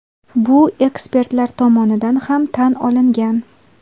Bu ekspertlar tomonidan ham tan olingan.